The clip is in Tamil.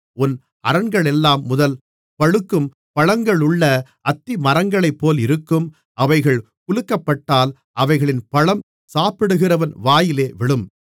உன் அரண்களெல்லாம் முதல் பழுக்கும் பழங்களுள்ள அத்திமரங்களைப்போல் இருக்கும் அவைகள் குலுக்கப்பட்டால் அவைகளின் பழம் சாப்பிடுகிறவன் வாயிலே விழும்